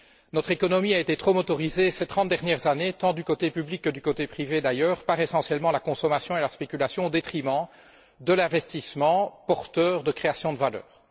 Notre économie a été trop accaparée ces trente dernières années, tant du côté public que du côté privé d'ailleurs par, essentiellement, la consommation et la spéculation au détriment de l'investissement porteur de création de valeurs.